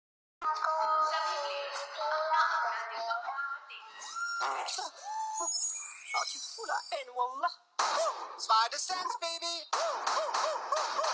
Það hafði aldrei áður gerst yfir hátíðarnar.